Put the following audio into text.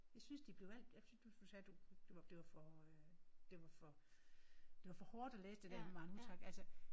Jeg synes de blev alt jeg synes du sagde du kunne det blev for det var for det var for hårdt at læse det der med Maren Uthaug altså